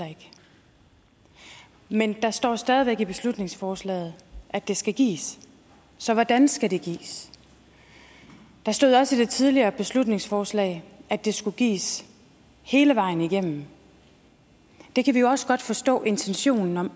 men der står stadig væk i beslutningsforslaget at det skal gives så hvordan skal det gives der stod også i det tidligere beslutningsforslag at det skulle gives hele vejen igennem det kan vi jo også godt forstå intentionen om